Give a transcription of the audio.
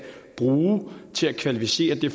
vil sige at det